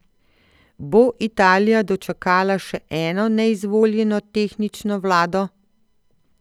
Bo Italija dočakala še eno neizvoljeno tehnično vlado?